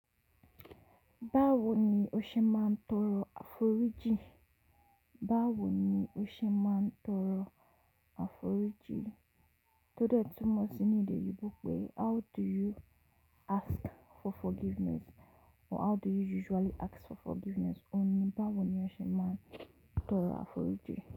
Báwo ni o ṣe máa ń tọrọ àforíjì? Báwo ni o ṣe máa ń tọrọ àforíjì? Tódé túmọ̀ sí ní èdè Yorùbá pé how do you ask for forgiveness or how do you usually ask for forgiveness? Òun ni báwo ni o ṣe máa ń tọrọ àforíjì.